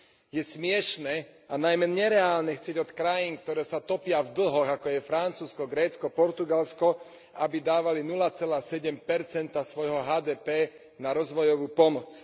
Je smiešne, a najmä nereálne, chcieť od krajín, ktoré sa topia v dlhoch, ako je Francúzsko, Grécko, Portugalsko, aby dávali 0,7 svojho HDP na rozvojovú pomoc.